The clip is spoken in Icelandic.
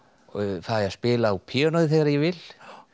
fæ að spila á píanóið þegar ég vil